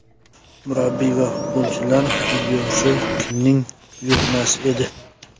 Murabbiy va futbolchilar videosi kimning buyurtmasi edi?